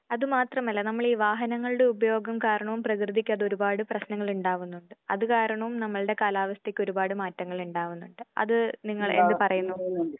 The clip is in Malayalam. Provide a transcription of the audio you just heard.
അതുമാത്രമല്ല നമ്മള് ഈ വാഹനങ്ങളുടെ ഉപയോഗം കാരണവും പ്രകൃതിക്കത് ഒരുപാട് പ്രശ്നനങ്ങളിണ്ടാവുന്നുണ്ട്. അത് കാരണം നമ്മുടെ കാലാവസ്ഥയ്ക്ക് ഒരുപാട് മാറ്റങ്ങൾ ഉണ്ടാവുന്നുണ്ട്. അത് നിങ്ങൾ എന്ത് പറയുന്നു?